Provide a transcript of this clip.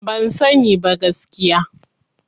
Ban sani ba gaskiya.